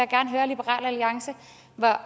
gerne høre liberal alliance hvor